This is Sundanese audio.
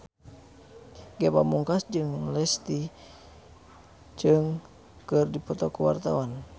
Ge Pamungkas jeung Leslie Cheung keur dipoto ku wartawan